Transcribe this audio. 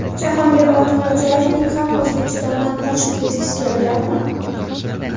Jahongir Ortiqxo‘jayevning ham O‘zbekistondan qochib ketgisi kelganmi?